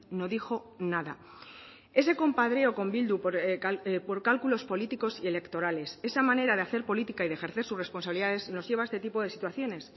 no dijo nada ese compadreo con bildu por cálculos políticos y electorales esa manera de hacer política y de ejercer sus responsabilidades nos lleva a este tipo de situaciones